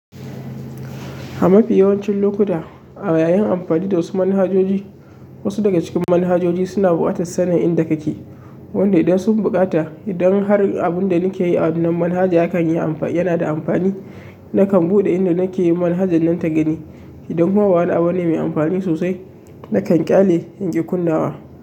A mafi yawancin lokuta a yayin anfani da wasu manhajoji wasu daga cikin manhajoji suna bukatan sanin inda kake wanda idan sun buƙata, idan har abin da nake yi a wannan manhaja yana da amfani, nakan buɗe inda nake yi manhaja nan ta gani. Idan kuma bawani abu ne mai anfani sosai, nakan ƙyale in ki kunnawa.